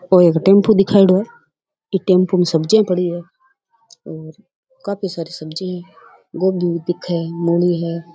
ओ एक टेम्पू दिखायेडो है एक टेम्पू में सब्जियां पड़ी है और काफी सारी सब्जी है गोभी भी दिखे है मूली है।